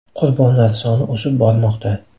Qurbonlar soni o‘sib bormoqda.